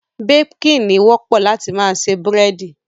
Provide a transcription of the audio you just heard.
Baking, ni wọ́pọ̀ láti ma se búrẹ́dí